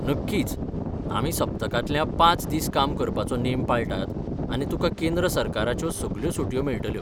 नक्कीच, आमी सप्तकांतल्या पांच दीस काम करपाचो नेम पाळटात आनी तुकां केंद्र सरकाराच्यो सगळ्यो सुटयो मेळटल्यो.